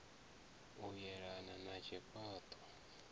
u yelana na tshifha ṱo